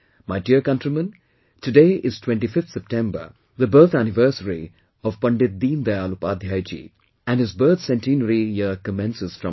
My dear countrymen, today is 25th September, the birth anniversary of Pandit Deen Dayal Upadhyay Ji and his birth centenary year commences from today